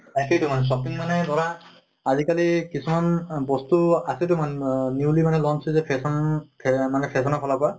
তাকেতো মানে shopping মানে ধৰা আজি কালি কিছুমান বস্তু আছে টো মান আহ newly মানে launch হৈছে fashion ফে মানে fashion ৰ ফালৰ পৰা